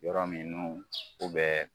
Yɔrɔ minnu u bɛ